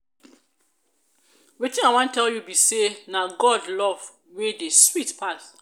wetin i wan tell you be say na god love wey dey sweet pass.